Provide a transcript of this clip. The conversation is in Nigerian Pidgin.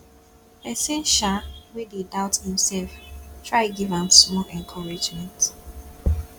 pesin um wey dey doubt imself try giv am small encouragement